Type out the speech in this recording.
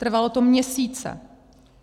Trvalo to měsíce.